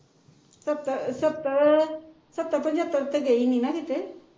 ਸੱਤਰ ਸੱਤਰ ਸੱਤਰ ਪੰਜਤਰ ਤੇ ਗਈ ਨਹੀਂ ਨਾ ਕਿਤੇ